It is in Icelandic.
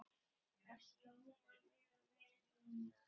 Það hljómar mjög vel núna.